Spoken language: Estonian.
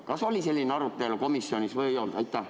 Kas oli selline arutelu komisjonis või ei olnud?